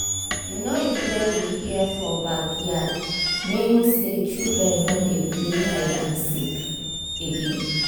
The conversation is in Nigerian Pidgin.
the noise wey we hear for backyard mean say children don dey play hide and seek again